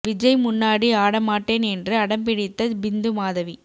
விஜய் முன்னாடி ஆட மாட்டேன் என்று அடம் பிடித்த பிந்து மாதவி